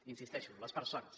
hi insisteixo les persones